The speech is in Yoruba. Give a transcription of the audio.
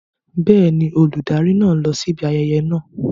Bẹ́ẹ̀ni, olùdarí náà ń lọ síbi ayẹyẹ náà.